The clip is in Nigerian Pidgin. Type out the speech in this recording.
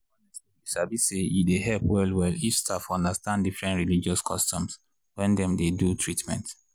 honestly you sabi say e dey help well well if staff understand different religious customs when dem dey do treatment.